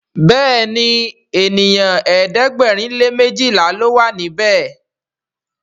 Béèni ènìyàn ẹ̀ẹ́dẹ̀gbẹ̀rin lè mejila ló wà níbè.